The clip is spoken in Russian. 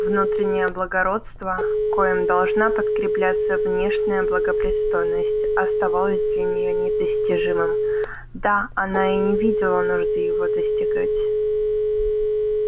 внутреннее благородство коим должна подкрепляться внешняя благопристойность оставалась для нее недостижимым да она и не видела нужды его достигать